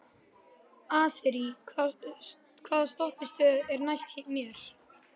Asírí, hvaða stoppistöð er næst mér?